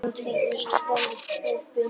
Hann tvísteig framan við hópinn.